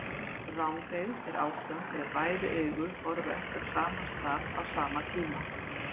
Rangeygð er ástand þegar bæði augu horfa ekki á sama stað á sama tíma.